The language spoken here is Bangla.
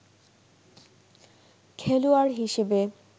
খেলোয়াড় হিসেবে